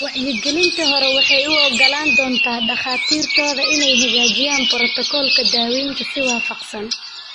Wacyigelinta hore waxay u oggolaan doontaa dhakhaatiirtooda inay hagaajiyaan borotokoolka daaweynta si waafaqsan.